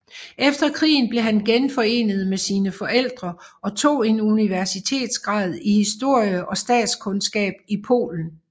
Efter krigen blev han genforenet med sine forældre og tog en universitetsgrad i historie og statskundskab i Polen